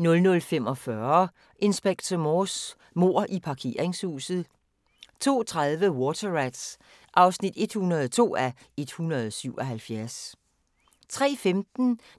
00:45: Inspector Morse: Mord i parkeringshuset 02:30: Water Rats (102:177) 03:15: